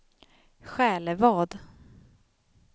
Själevad